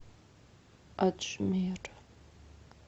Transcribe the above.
аджмер